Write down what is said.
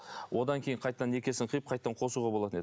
одан кейін қайтадан некесін қиып қайтадан қосуға болатын еді